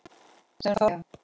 Sem þorði að deyja!